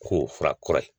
K'o fura kura ye